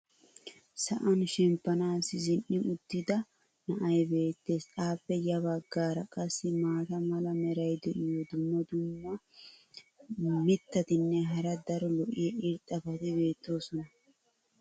sa"an shemppanaassi zin'i uttida na"ay beetees. appe ya bagaara qassi maata mala meray diyo dumma dumma mitatinne hara daro lo'iya irxxabati beetoosona.